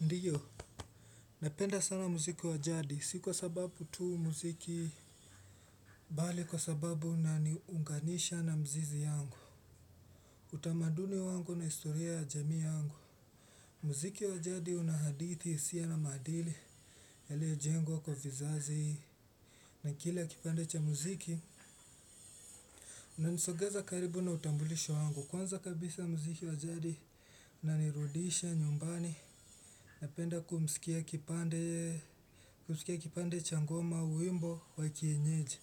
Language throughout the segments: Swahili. Ndiyo, napenda sana muziki wa jadi, si kwa sababu tu muziki bali kwa sababu na niunganisha na mzizi yangu. Utamaduni wangu na historia ya jami yangu. Mziki wa jadi unahadithi siya na madili, ya leo jengwa kwa vizazi hii. Na kile ya kipande cha muziki, unanisogeza karibu na utambulisho wangu. Kwanza kabisa ya muziki wa jadi, unanirudisha nyumbani. Napenda kumisikia kipande cha ngoma uwembo wa kienyeji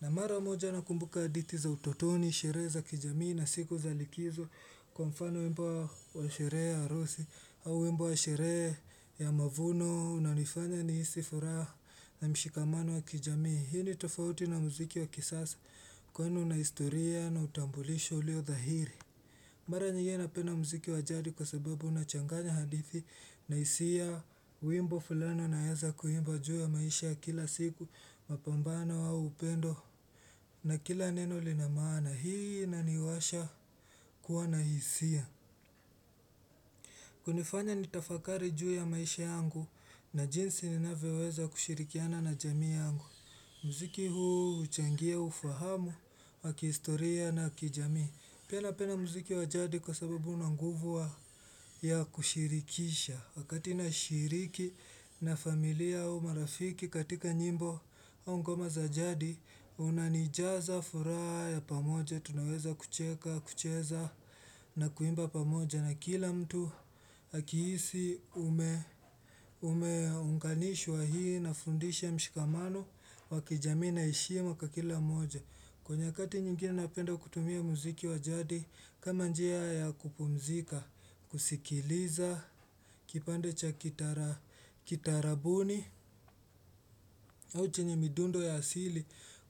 na mara moja nakumbuka aditi za utotoni, shire za kijamii na siku za likizo Kwa mfano uwembo wa shire ya arosi au uwembo wa shire ya mavuno na nifanya ni hisifura na mshikamano wa kijamii Hii ni tofauti na muziki wa kisasa kweni na historia na utambulisho lio dhahiri Mara nyeye napena mziki wajadi kwa sababu unachanganya hadithi na hisia uimbo fulani naeza kuimba juu ya maisha kila siku mapambano wa upendo na kila neno linamana hii na niwasha kuwa na hisia. Hunifanya nitafakari juu ya maisha yangu na jinsi ninaweweza kushirikiana na jami yangu. Mziki huu uchangia ufahamu waki historia na kijami. Pia napenda muziki wa jadi kwa sababu unanguvua ya kushirikisha Wakati na shiriki na familia au marafiki katika nyimbo au ngoma za jadi unanijaza furaha pamoja tunaweza kucheka, kucheza na kuimba pamoja na kila mtu hakiisi umeunganishwa hii na fundisha mshikamano wakijamii na ishia kila moja kwenye kati nyingine napenda kutumia muziki wajadi kama njea ya kupumzika, kusikiliza, kipande cha kitara boni au chenye midundo ya asili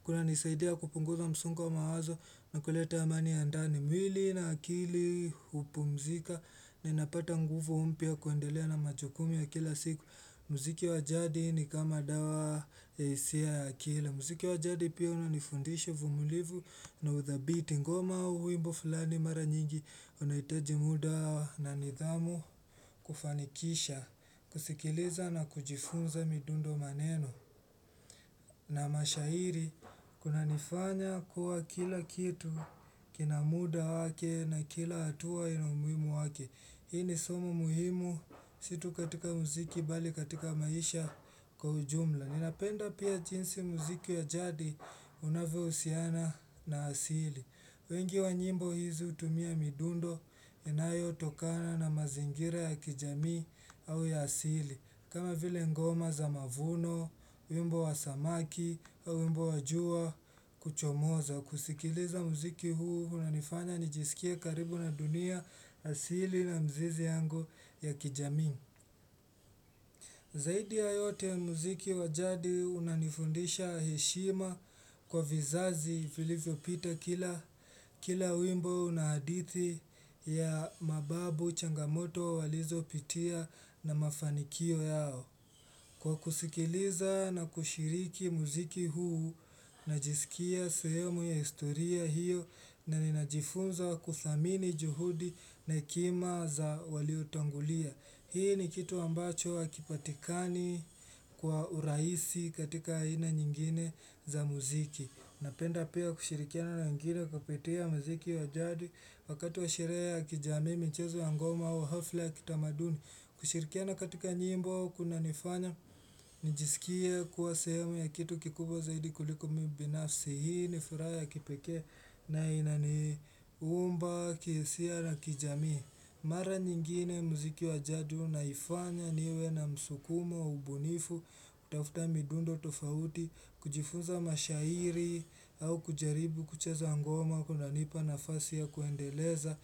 Kuna nisaidia kupunguza msungo mawazo na kuleta amani ya ndani mwili na akili hupumzika ninapata nguvu umpya kuandelea na majokumi ya kila siku Muziki wajadi ni kama dawa ya isia ya akila Muziki wa jadi pia unanifundisho vumulivu na with the beat ngoma uimbo fulani mara nyingi unahiteje muda na nidhamu kufanikisha, kusikiliza na kujifunza midundo maneno. Na mashairi kuna nifanya kuwa kila kitu kina muda wake na kila atua ina umwimu wake. Hii ni somo muhimu situ katika muziki bali katika maisha kwa ujumla. Ninapenda pia jinsi muziki ya jadi unavyo usiana na asili wengi wa nyimbo hizi utumia midundo inayo tokana na mazingira ya kijami au ya asili kama vile ngoma za mavuno, wimbo wa samaki au wimbo wa jua kuchomoza kusikiliza muziki huu unanifanya nijisikie karibu na dunia asili na mzizi yangu ya kijamii Zaidi ya yote muziki wajadi unanifundisha heshima kwa vizazi vilivyo pita kila uwimbo na hadithi ya mababu changamoto walizo pitia na mafanikio yao. Kwa kusikiliza na kushiriki muziki huu na jisikia suyemu ya historia hiyo na ninajifunza kufamini juhudi na ikima za waliutangulia. Hii ni kitu ambacho hakipatikani kwa urahisi katika aina nyingine za muziki. Napenda pia kushirikiana na nyingine wakapetia muziki wa jadi wakati wa sherehe ya kijamii mchezo ya ngoma wa hafla ya kitamaduni. Kushirikiana katika nyimbo kuna nifanya, nijisikia kuwa sehemu ya kitu kikubwa zaidi kuliko mbinafsi. Hii ni furaya ya kipeke na inaniumba, kihsia na kijami. Mara nyingine muziki wa jadu naifanya niwe na msukuma wa ubunifu, kutafuta midundo tofauti, kujifunza mashairi, au kujaribu, kuchezo ngoma, kunanipa nafasi ya kuendeleza,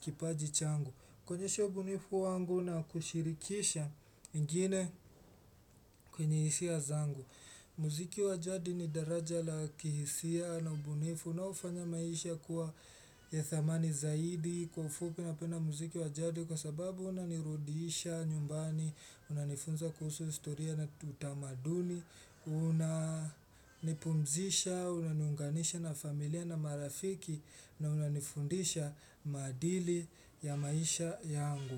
kipaji changu. Kuonyesha ubunifu wangu na kushirikisha ingine kwenye hisia zangu. Muziki wajadi ni daraja la kihisia na ubunifu na ufanya maisha kuwa ya dhamani zaidi kwa ufupi napena muziki wa jadi kwa sababu unanirudisha nyumbani, unanifunza kuhusu historia na utamaduni, Una nipumzisha, una niunganisha na familia na marafiki na una nifundisha madili ya maisha yangu.